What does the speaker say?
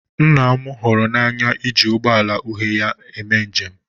nna m hụrụ n'anya iji ụgbọ ala uhie ya na-eme njem